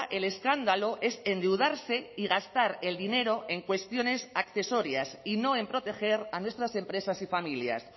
el escándalo es endeudarse y gastar el dinero en cuestiones accesorias y no en proteger a nuestras empresas y familias